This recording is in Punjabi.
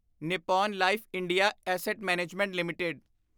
Nippon life India asset management LTD